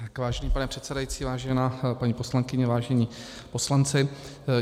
Vážený pane předsedající, vážená paní poslankyně, vážení poslanci.